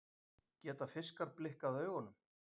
Geta fiskar blikkað augunum?